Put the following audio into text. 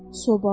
Soba?